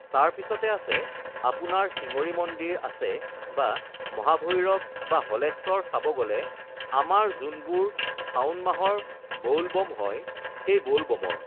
তাৰপিছতে আছে আপোনাৰ শিঙৰি মন্দিৰ আছে বা মহাভৈৰৱ বা হলেশ্বৰ চাব গ'লে আমাৰ যোনবোৰ শাওন মাহৰ বৌল ব'ম হয় সেই বৌল ব'মৰ